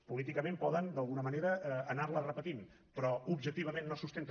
políticament poden d’alguna manera anarla repetint però objectivament no es sustenta